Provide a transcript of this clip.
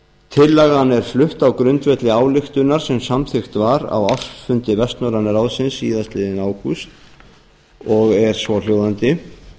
tillagan er flutt á grundvelli ályktunar sem samþykkt var á ársfundi vestnorræna ráðsins síðastliðinn ágúst og er svohljóðandi